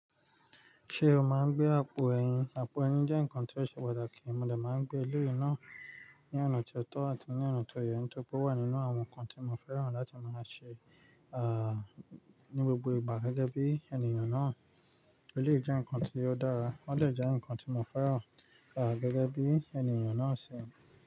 Ṣé o máa ń gbé àpò ẹyin? Àpò ẹyin jẹ́ nǹkan tó ṣe pàtàkì, mo dà máa ń gbé e lórí náà ní ọ̀nà ti ó tọ́ àti ní ọ̀nà tó yẹ, nitoripe o wà nínú àwọn nǹkan tí mo fẹ́ràn láti máa ṣe, à, ní gbogbo ìgbà gẹ́gẹ́ bí ènìyàn náà. Eleyii jẹ́ nǹkan tí ó dára, ó dẹ jẹ́ nǹkan tí mo fẹ́ràn, à, gẹ́gẹ́ bí ènìyàn náà ṣe.